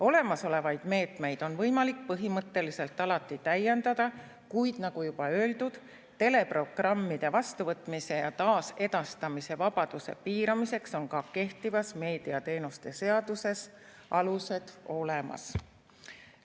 Olemasolevaid meetmeid on võimalik põhimõtteliselt alati täiendada, kuid, nagu juba öeldud, teleprogrammide vastuvõtmise ja taasedastamise vabaduse piiramiseks on ka kehtivas meediateenuste seaduses alused olemas.